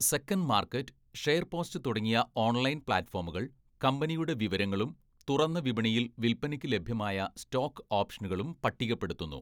Second market, SharesPost തുടങ്ങിയ online പ്ലാറ്റ്ഫോമുകൾ കമ്പനിയുടെ വിവരങ്ങളും തുറന്ന വിപണിയിൽ വിൽപ്പനയ്ക്ക് ലഭ്യമായ സ്റ്റോക്ക് ഓപ്ഷനുകളും പട്ടികപ്പെടുത്തുന്നു.